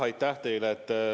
Aitäh teile!